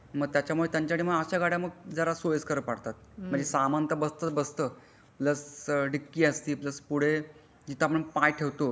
मा त्यामुळे त्यांच्या साठी अश्या मा गाड्या जरा सोयीस्कर पडतात म्हणजे सामान तर बसताच बसता प्लस डिक्की असती प्लस पुढे जिथे आपण पाय ठेवतो